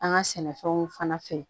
An ka sɛnɛfɛnw fana fɛ